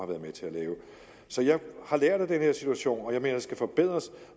været med til at lave så jeg har lært af den her situation og jeg mener skal forbedres